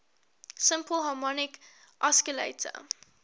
simple harmonic oscillator